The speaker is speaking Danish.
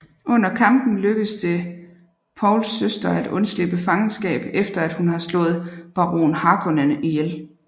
Under kampen lykkes det Pauls søster at undslippe fangenskab efter at hun har slået baron Harkonnen ihjel